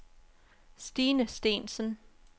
Stine Steensen